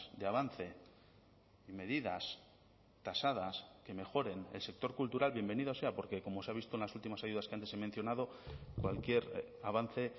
de avance medidas tasadas que mejoren el sector cultural bienvenido sea porque como se ha visto en las últimas ayudas que antes he mencionado cualquier avance